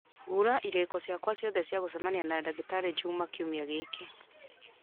hura irĩko ciakwa ciothe cia gũcemania na ndagĩtarĩ juma kiumia gĩkĩ